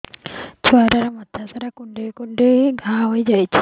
ଛୁଆଟାର ମଥା ସାରା କୁଂଡେଇ କୁଂଡେଇ ଘାଆ ହୋଇ ଯାଇଛି